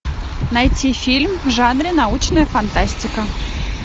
найти фильм в жанре научная фантастика